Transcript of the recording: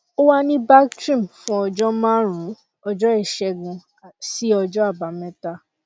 ó wà ní bactrim fún ọjọ márùnún ọjọ ìṣẹgun sí ọjọ àbámẹta